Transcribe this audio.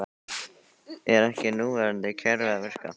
Er ekki núverandi kerfi að virka?